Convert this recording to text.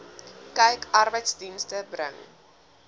kyk arbeidsdienste bring